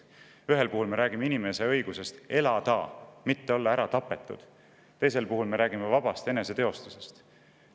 Ühel puhul me räägime inimese õigusest elada ja mitte saada ära tapetud, teisel puhul me räägime vabast eneseteostusest.